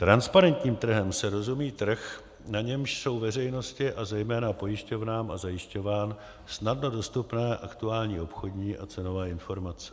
Transparentním trhem se rozumí trh, na němž jsou veřejnosti a zejména pojišťovnám a zajišťovnám snadno dostupné aktuální obchodní a cenové informace.